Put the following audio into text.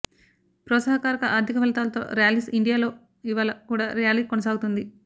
ప్రోత్సాహకర ఆర్థిక ఫలితాలతో ర్యాలీస్ ఇండియాలో ఇవాళ కూడా ర్యాలీ కొనసాగుతోంది